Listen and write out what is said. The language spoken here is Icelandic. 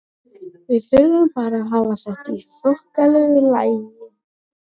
Við þurfum bara að hafa þetta í þokkalegu lagi.